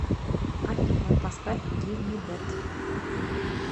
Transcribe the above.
афина поставь гив ми дэт